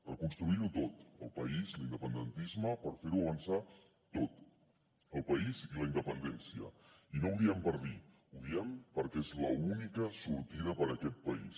reconstruir ho tot el país l’independentisme per fer ho avançar tot el país i la independència i no ho diem per dir ho diem perquè és l’única sortida per a aquest país